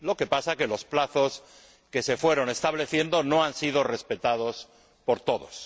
Lo que pasa es que los plazos que se fueron estableciendo no han sido respetados por todos.